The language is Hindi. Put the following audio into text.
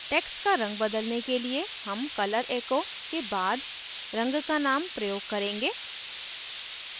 text का रंग बदलने के लिए हम color echo के बाद रंग का name प्रयोग करेंगे